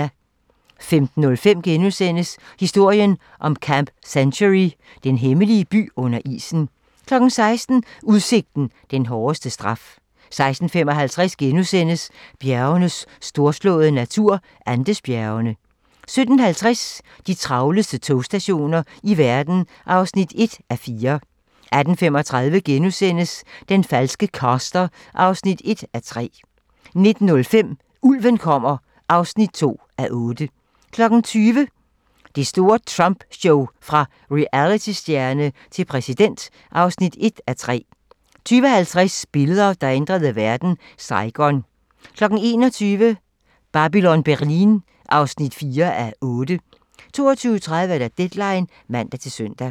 15:05: Historien om Camp Century: Den hemmelige by under isen * 16:00: Udsigten – den hårdeste straf 16:55: Bjergenes storslåede natur - Andesbjergene * 17:50: De travleste togstationer i verden (1:4) 18:35: Den falske caster (1:3)* 19:05: Ulven kommer (2:8) 20:00: Det store Trump show: Fra realitystjerne til præsident (1:3) 20:50: Billeder, der ændrede verden: Saigon 21:00: Babylon Berlin (4:8) 22:30: Deadline (man-søn)